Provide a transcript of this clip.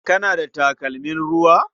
Kana da takalmin ruwa?